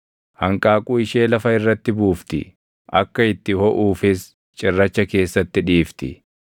Hanqaaquu ishee lafa irratti buufti; akka itti hoʼuufis cirracha keessatti dhiifti;